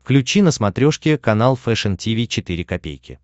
включи на смотрешке канал фэшн ти ви четыре ка